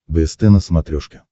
бст на смотрешке